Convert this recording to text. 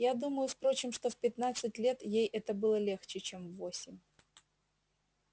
я думаю впрочём что в пятнадцать лет ей это было легче чем в восемь